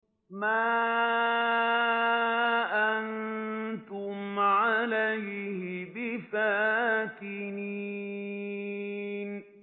مَا أَنتُمْ عَلَيْهِ بِفَاتِنِينَ